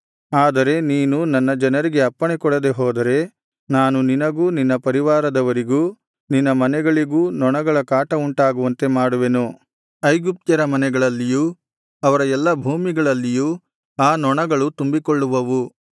ಆದರೆ ನೀನು ನನ್ನ ಜನರಿಗೆ ಅಪ್ಪಣೆಕೊಡದೇ ಹೋದರೆ ನಾನು ನಿನಗೂ ನಿನ್ನ ಪರಿವಾರದವರಿಗೂ ನಿನ್ನ ಮನೆಗಳಿಗೂ ನೊಣಗಳ ಕಾಟವುಂಟಾಗುವಂತೆ ಮಾಡುವೆನು ಐಗುಪ್ತ್ಯರ ಮನೆಗಳಲ್ಲಿಯೂ ಅವರ ಎಲ್ಲಾ ಭೂಮಿಗಳಲ್ಲಿಯೂ ಆ ನೊಣಗಳು ತುಂಬಿಕೊಳ್ಳುವವು